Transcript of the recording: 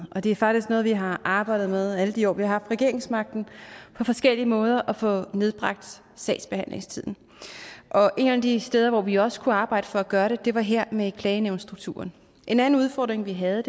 og det er faktisk noget vi har arbejdet med alle de år vi har haft regeringsmagten på forskellige måder at få nedbragt sagsbehandlingstiden og et af de steder hvor vi også kunne arbejde for at gøre det var her med klagenævnsstrukturen en anden udfordring vi havde